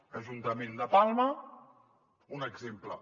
ajuntament de palma un exemple